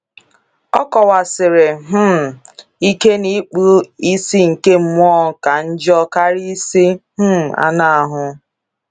Ọ kọwsiri um ike na ikpu ìsì nke mmụọ ka njọ karịa ìsì um anụ ahụ.